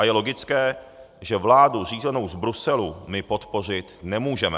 A je logické, že vládu řízenou z Bruselu my podpořit nemůžeme.